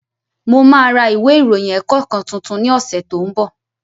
Mo ma ra ìwé ìròyìn ẹ̀kọ́ kan tuntun ní ọ̀sẹ̀ tó ń bọ̀